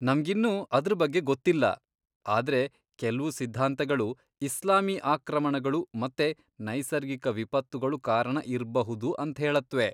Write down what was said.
ನಮ್ಗಿನ್ನೂ ಅದ್ರ್ ಬಗ್ಗೆ ಗೊತ್ತಿಲ್ಲ, ಆದ್ರೆ ಕೆಲ್ವು ಸಿದ್ಧಾಂತಗಳು ಇಸ್ಲಾಮೀ ಆಕ್ರಮಣಗಳು ಮತ್ತೆ ನೈಸರ್ಗಿಕ ವಿಪತ್ತುಗಳು ಕಾರಣ ಇರ್ಬಹುದು ಅಂತ್ಹೇಳತ್ವೆ.